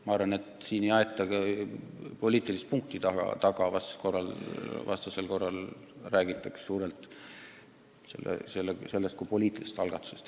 Ma arvan, et siin ei aeta ka poliitilist punkti taga, vastasel korral räägitaks suurelt sellest kui poliitilisest algatusest.